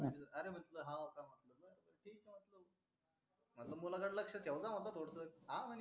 अन मुला कडे लक्ष ठेवजा म्हटल थोडसक हा म्हणे